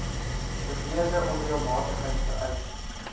beweerde onreëlmatigheid vereis